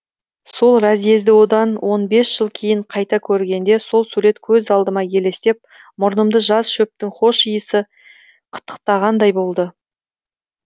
сол разъезді одан он бес жыл кейін қайта көргенде сол сурет көз алдыма елестеп мұрнымды жас шөптің хош иісі қытықтағандай болды